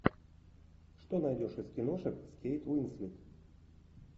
что найдешь из киношек с кейт уинслет